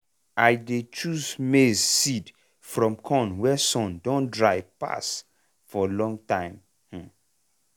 i dey choose maize seed from corn wey sun don dry pass for long time. um